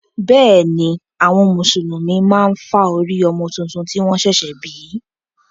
Bẹ́ẹ̀ ni, àwọn Mùsùlùmí máa ń fá orí ọmọ tuntun tí wọ́n ṣẹ̀ṣẹ̀ bí.